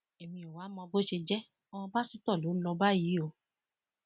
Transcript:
èmi ò wáá mọ bó ṣe jẹ ọmọ pásítọ ló lọọ bá yìí o